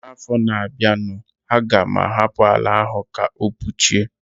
N'afọ na bia nu, a ga m ahapụ àlà áhù ka o puchie